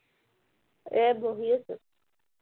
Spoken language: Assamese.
এৰ পঢ়ি আছো